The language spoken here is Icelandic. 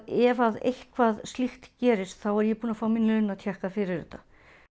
ef eitthvað slíkt gerist þá er ég búin að fá minn fyrir þetta